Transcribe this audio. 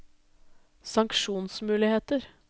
sanksjonsmuligheter